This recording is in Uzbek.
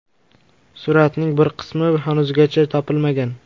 Suratning bir qismi hanuzgacha topilmagan.